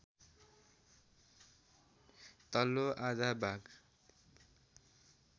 तल्लो आधा भाग